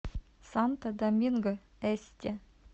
санто доминго эсте